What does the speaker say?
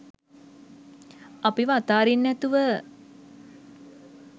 අපිව අතාරින්නැතුව